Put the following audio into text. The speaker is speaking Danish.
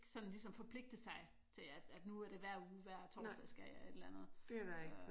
Sådan ligesom forpligte sig til at nu er det hver uge hver torsdag skal jeg et eller andet